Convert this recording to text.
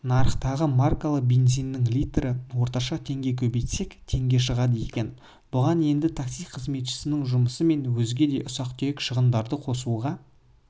нарықтағы маркалы бензиннің литрі орташа теңге көбейтсек теңге шығады екен бұған енді такси қызметшісінің жұмысы мен өзге де ұсақ-түйек шығындарды қосуға